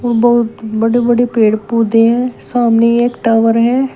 बहुत बड़े बड़े पेड़ पौधे हैं सामने टॉवर है।